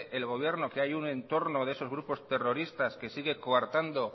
el gobierno que hay un entorno de esos grupos terroristas que sigue coartando